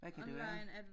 Hvad kan det være?